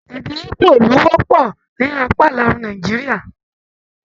Èdè igbó lo wọpọ ní apá ìlàòrùn Nàìjíríà.